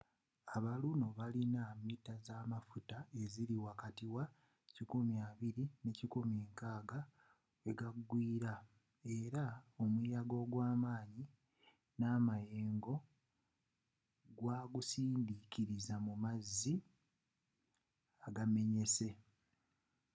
aba luno bayina mita zamafuta eziri wakati wa 120-160 weyagwiiera era omuyaga ogwamaanyi namayengo gwagusindikiriza mu mazzi agamenyese